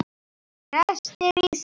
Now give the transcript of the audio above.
Brestir í stiga.